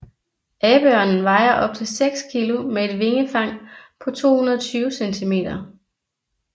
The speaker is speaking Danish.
Abeørnen vejer op til 6 kg med et vingefang på 220 cm